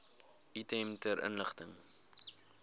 item ter inligting